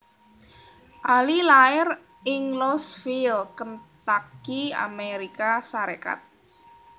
Ali lair ing Louisville Kentucky Amérika Sarékat